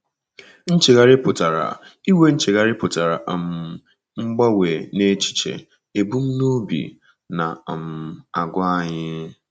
Nchegharị pụtara inwe Nchegharị pụtara inwe um mgbanwe n’echiche, ebumnobi, na um àgwà anyị.